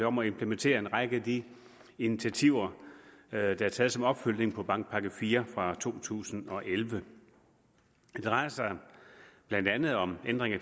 om at implementere en række af de initiativer der er taget som opfølgning på bankpakke iv fra to tusind og elleve det drejer sig blandt andet om ændring